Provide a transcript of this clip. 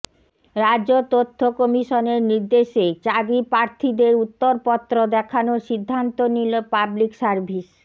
রাজ্য তথ্য কমিশনের নির্দেশে চাকরি প্রার্থীদের উত্তরপত্র দেখানোর সিদ্ধান্ত নিল পাবলিক সার্ভিস